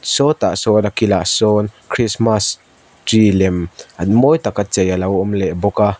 sawtah chuan a kilah sawn christmas tree lem mawi tak a chei alo awm leh bawk a.